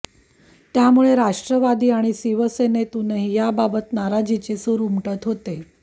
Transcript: त्यामुळे राष्ट्रवादी आणि शिवसेनेतूनही याबाबत नाराजीचे सुर उमटत होते